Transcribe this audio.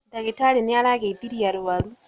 Ndagitarĩ nĩ arageithirie arũaru.